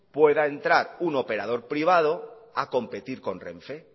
pueda entrar un operador privado a competir con renfe